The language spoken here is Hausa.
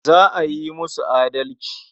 Za a yi musu adalci.